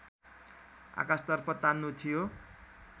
आकाशतर्फ तान्नु थियो